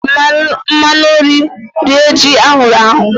E jiiri m mmanụ nri rie ji ahụrụ ahụ.